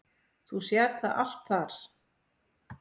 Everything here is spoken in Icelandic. Þú sérð það allt þar.